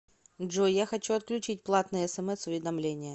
джой я хочу отключить платные смс уведомления